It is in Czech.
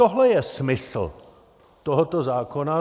Tohle je smysl tohoto zákona.